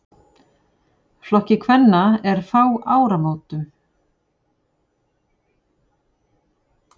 Flokki kvenna er fá áramótum.